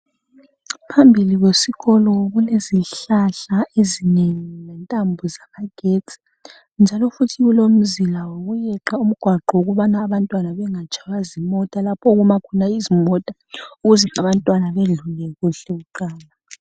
phambili kwesikolo kulezintambo ezinengi lezintambo zama getsi njalo kulomzila wokuyeqa ugwaqo ukubana abantwana bengatshaywa zimota okuma khona izimota ukuze abantwana bedlule kuhle kuqala